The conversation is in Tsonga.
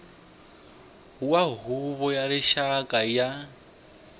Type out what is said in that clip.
wa huvo ya rixaka ya